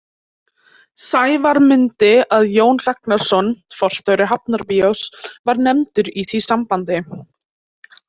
Sævar mundi að Jón Ragnarsson, forstjóri Hafnarbíós, var nefndur í því sambandi.